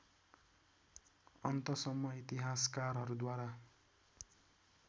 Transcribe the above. अन्तसम्म इतिहासकारहरूद्वारा